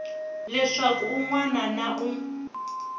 leswaku un wana na un